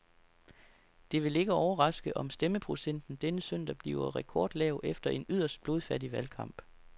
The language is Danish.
Det vil ikke overraske, om stemmeprocenten denne søndag bliver rekordlav efter en yderst blodfattig valgkamp.